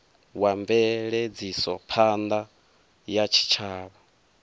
wa mveledzisophan ḓa ya tshitshavha